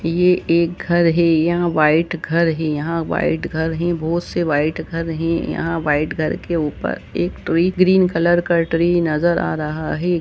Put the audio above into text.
यह एक घर है यहां व्हाइट घर है यहां व्हाइट घर ही बहुत से व्हाइट घर है यहां व्हाइट घर के ऊपर एक ट्री ग्रीन कलर का ट्री नजर आ रहा है।